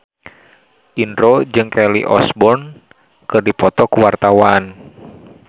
Indro jeung Kelly Osbourne keur dipoto ku wartawan